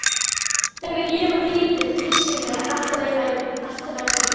Þegar ég var lítil þyrsti mig alltaf í ævintýri.